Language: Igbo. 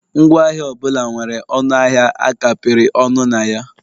Ngwaahịa ọ bụla nwere ọnụ ahịa a kapịrị ọnụ na ya